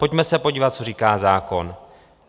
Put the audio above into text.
Pojďme se podívat, co říká zákon.